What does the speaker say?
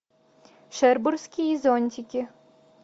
шербургские зонтики